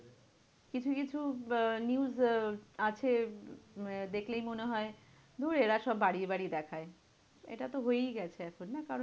কিছু কিছু আহ news আহ আছে উম দেখলেই মনে হয়, ধুর এরা সব বাড়িয়ে বাড়িয়ে দেখায়। এটা তো হয়েই গেছে এখন না? কারণ